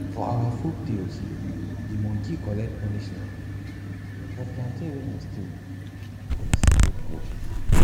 for our folktales de monkey collect punishment for plantain wey im steal for de sacred grove